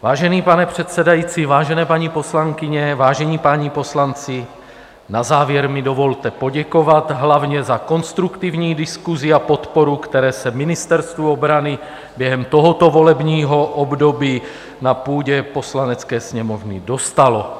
Vážený pane předsedající, vážené paní poslankyně, vážení páni poslanci, na závěr mi dovolte poděkovat hlavně za konstruktivní diskusi a podporu, které se Ministerstvu obrany během tohoto volebního období na půdě Poslanecké sněmovny dostalo.